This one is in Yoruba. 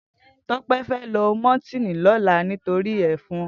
Tope fè lò mòtìní lòlá nitóri èfòn